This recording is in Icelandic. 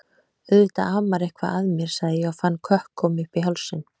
Auðvitað amar eitthvað að mér, sagði ég og fann kökk koma uppí hálsinn.